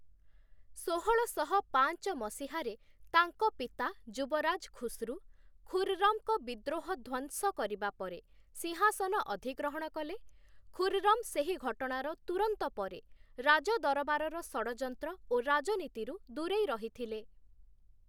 ଷୋହଳଶହ ପାଞ୍ଚ ମସିହାରେ ତାଙ୍କ ପିତା ଯୁବରାଜ ଖୁସ୍ରୁ, ଖୁର୍‌ରମ୍‌ଙ୍କ ବିଦ୍ରୋହ ଧ୍ୱଂସ କରିବା ପରେ ସିଂହାସନ ଅଧିଗ୍ରହଣ କଲେ, ଖୁର୍‌ରମ୍‌ ସେହି ଘଟଣାର ତୁରନ୍ତ ପରେ ରାଜଦରବାରର ଷଡ଼ଯନ୍ତ୍ର ଓ ରାଜନୀତିରୁ ଦୂରେଇ ରହିଥିଲେ ।